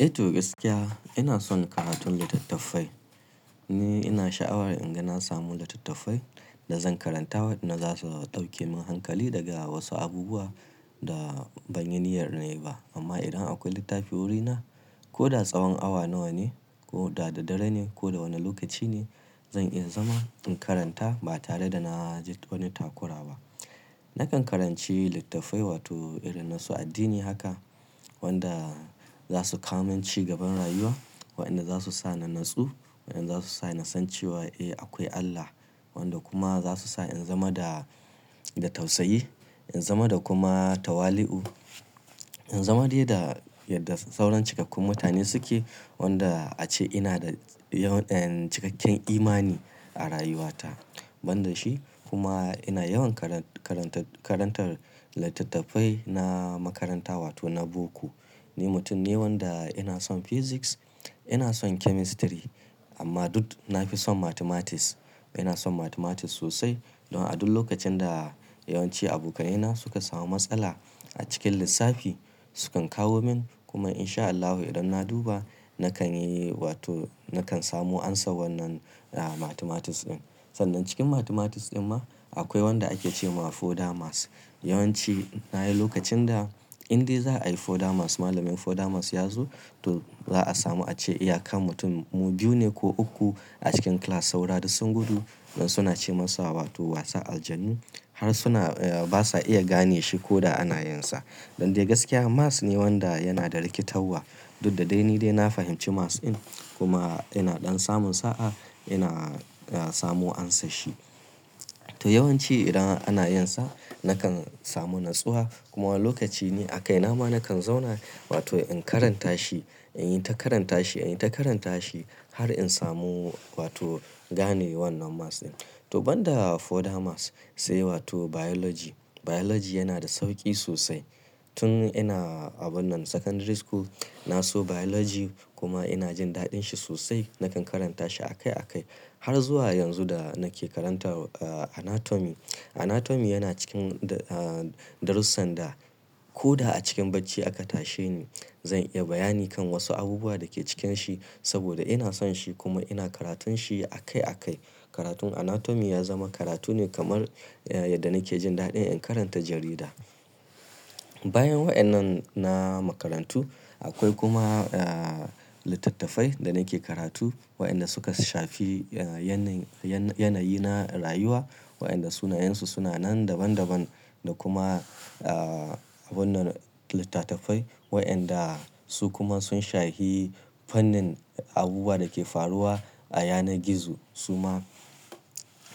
Eh to gaskiya ina son karatun littattafai. Ni ina sha'awar in ga na samu littattafai da zan karanta wanda za su ɗauke min hankali daga wasu abubuwa da ban yi niyyar nema ba. Amma idan akwai littafi wurina ko da tsawon awa nawa ne ko da dare ne ko da wane lokaci ne zan iya zama in karanta ba tare da na ji wani takura ba. Nakan karanci littattafai wato irinna su addini haka wanda za su ka min cigaban rayuwa, wa'enda za su sa na natsu, wa'enda za su sa na san cewa eh akwai Allah, wanda kuma za su sa in zama da, da tausayi, in zama da kuma tawali'u, in zama dai da yadda sauran cikakken mutane suke wanda a ce ina da cikakken imani a rayuwata. Ban da shi kuma ina yawan karantar, karantar littattafai na makaranta wato na boko. Ni mutum ne wanda ina son Physics, ina son Chemistry amma duk na fi son Mathematics. Ina son Mathematics sosai don a duk lokacin da yawanci abokanai na suka samu matsala a cikin lissafi su kan kawo min kuma in sha Allahu idan na duba nakan yi wato nakan samu amsa wannan mathematics ɗin. Sannan cikin mathematics ɗin ma akwai wanda ake ce ma Further maths. Yawanci na yi lokacin da in dai za a yi Further maths malamin Further maths ya zo to za a samu ace iya kan mutum mu biyu ne ko uku a cikin class saura dus sun gudu dan suna ce masa wato wasan aljanu har suna, ba sa iya gane shi ko da ana yin sa. Dan dai gaskiya maths ne wanda yana da rikitarwa duk da dai ni dai na fahimci maths ɗin kuma ina ɗan samun sa'a ina samo amsa shi. To yawanci idan ana yin sa nakan samu natsuwa kuma lokaci ne a kai nama nakan zauna wato in karanta shi, in yi ta karanta shi, in yi ta karanta shi har in samu wato gane wannan maths ɗin. To ban da Further maths sai wato Biology. Biology yana da sauki sosai. Tun ina abun nan Secondary School na so Biology kuma ina jin daɗin shi sosai. Nakan karanta shi a kai a kai har zuwa yanzu da nake karanta Anatomy. Anatomy yana cikin darussan da ko da a cikin bacci aka tashi ni zan iya bayani kan wasu abubuwa da ke cikin shi saboda ina son shi kuma ina karatun shi a kai a kai. Karatun Anatomy ya zama karatu ne kamar yadda nake jin daɗin in karanta jarida. Bayan wa'ennan na makarantu akwai kuma littattafai da nake karatu waɗanda suka shafi yanayi na rayuwa. Wa'enda sunayensu suna nan daban daban da kuma abun nan littattafai waɗanda su kuma sun shafi fannin abubuwa da ke faruwa a yanar gizo. Su ma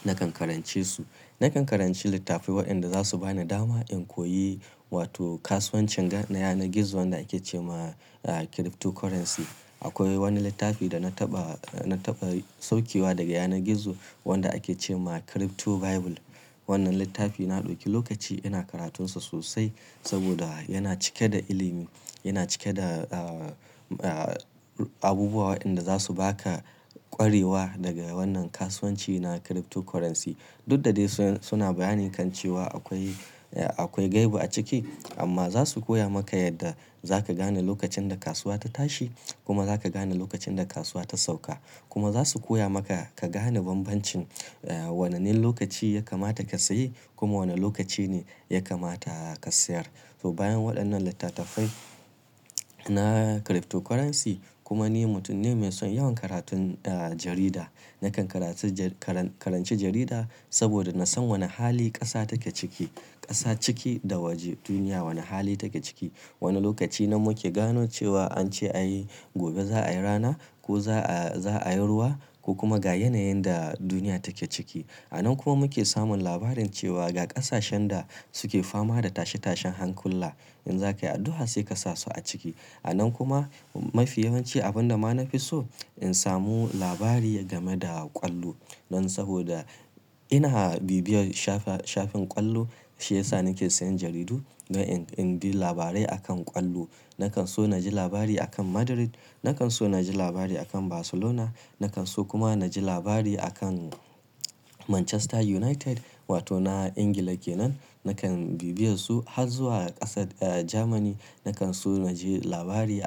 nakan karance su. Nakan karanci littafai wa'enda za su ba ni dama in koyi wato kasuwancin ga ne yanar gizo wanda ake ce ma Cryptocurrency. Akwai wani littafi da na taɓa, na taɓa saukewa daga yanar gizo wanda ake ce ma Crypto Bible. Wannan littafi na ɗauke lokaci ina karatun sa sosai saboda yana cike da ilimi, yana cike da abubuwa wa'enda za su ba ka kwarewa daga wannan kasuwanci na Cryptocurrency. Duk da dai suna bayani kan cewa akwai, akwai gaibu a ciki amma za su koya maka yadda za ka gane lokacin da kasuwa ta tashi kuma za ka gane lokacin da kasuwa ta sauka. Kuma za su koya maka ka gane banbancin wanane lokaci ya kamata ka saye kuma wane lokaci ne ya kamata ka sayar. To bayan waɗannan littattafai na Cryptocurrency kuma ni mutum ne mai son yawan karatun jarida. Nakan karatu, karanci jarida saboda na san wane hali ƙasa take ciki, ƙasa ciki da waje duniya wane hali take ciki. Wane lokaci nanmu ke gano cewa an ce ai gobe za a yi rana ko za a, za a yi ruwa ko kuma ga yanayin da duniya take ciki. A nan kuma muke samun labarin cewa ga ƙasashen da suke fama da tashe tashen hankulla in za ka yi addu'a sai ka sa su a ciki. A nan kuma mafi yawanci abin da ma na fi so in samu labari game da ƙwallo. Dan saboda ina bibiyar shafi, shafin ƙwallo shi ya sa nake sayan jaridu ga in, in bi labarai a kan ƙwallo. Nakan so na ji labari a kan Madrid, nakan so na ji labari a kan Barcelona, nakan so kuma na ji labari a kan Manchester United wato na Ingila kenan. Nakan bibiye su har zuwa ƙasar Jamani. Nakan so na ji labari a.